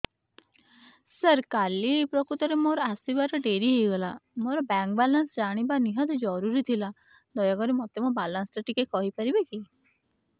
ସାର କାଲି ପ୍ରକୃତରେ ମୋର ଆସିବା ଡେରି ହେଇଗଲା ମୋର ବ୍ୟାଙ୍କ ବାଲାନ୍ସ ଜାଣିବା ନିହାତି ଜରୁରୀ ଥିଲା ଦୟାକରି ମୋତେ ମୋର ବାଲାନ୍ସ ଟି କହିପାରିବେକି